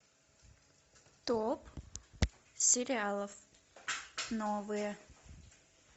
топ сериалов новые